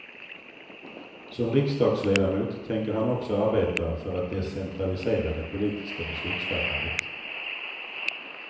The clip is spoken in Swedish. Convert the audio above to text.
Som riksdagsledamot tänker han också arbeta för att decentralisera det politiska beslutsfattandet.